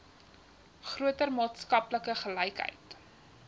groter maatskaplike gelykheid